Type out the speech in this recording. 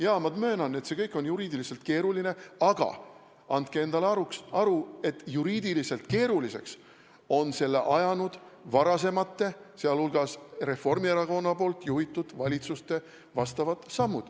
Jaa, ma möönan, et see kõik on juriidiliselt keeruline, aga andke endale aru, et juriidiliselt keeruliseks on selle ajanud varasemate, sealhulgas Reformierakonna juhitud valitsuste vastavad sammud.